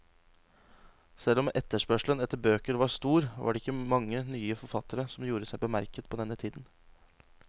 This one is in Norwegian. Selv om etterspørselen etter bøker var stor, var det ikke mange nye forfattere som gjorde seg bemerket på denne tiden.